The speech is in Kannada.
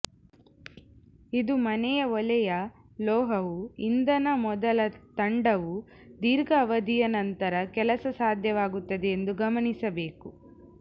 ಇದು ಮನೆ ಒಲೆಯ ಲೋಹವು ಇಂಧನ ಮೊದಲ ತಂಡವು ದೀರ್ಘ ಅವಧಿಯ ನಂತರ ಕೆಲಸ ಸಾಧ್ಯವಾಗುತ್ತದೆ ಎಂದು ಗಮನಿಸಬೇಕು